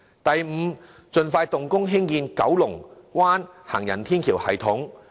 第五，盡快動工興建九龍灣行人天橋系統。